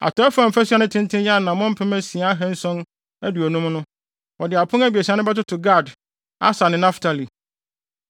Atɔe fam fasu a ne tenten yɛ anammɔn mpem asia ahanson aduonum (6,750) no, wɔde apon abiɛsa no bɛtoto Gad, Aser ne Naftali.